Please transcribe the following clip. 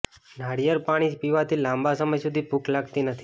નારિયેળ પાણી પીવાથી લાંબા સમય સુધી ભૂખ લાગતી નથી